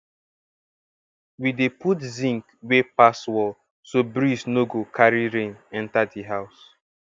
we dey put zinc wey pass wall so breeze no go carry rain enter di house